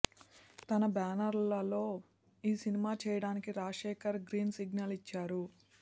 తన బ్యానర్లో ఈ సినిమా చేయడానికి రాజశేఖర్ గ్రీన్ సిగ్నల్ ఇచ్చారు